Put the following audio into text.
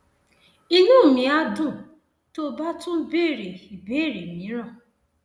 inú mi á dùn tó o bá tún béèrè ìbéèrè mìíràn